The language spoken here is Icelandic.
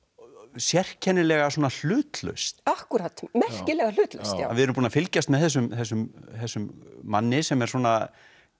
sérkennilega hlutlaust akkúrat merkilega hlutlaust við erum búin að fylgjast með þessum þessum þessum manni sem er svona